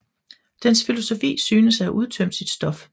Dens filosofi synes at have udtømt sit stof